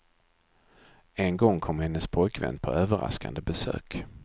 En gång kom hennes pojkvän på överraskande besök.